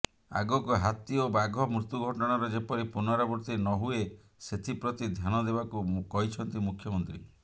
ଆଗକୁ ହାତୀ ଓ ବାଘ ମୃତ୍ୟୁ ଘଟଣାର ଯେପରି ପୁନରାବୃତ୍ତି ନହୁଏ ସେଥିପ୍ରତି ଧ୍ୟାନ ଦେବାକୁ କହିଛନ୍ତି ମୁଖ୍ୟମନ୍ତ୍ରୀ